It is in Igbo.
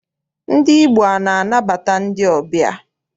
Ndị Igbo ana anabata ndị ọbịa?